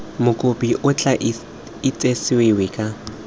mokopi o tla itsesewe ka